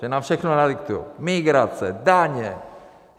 Že nám všechno nadiktují - migrace, daně?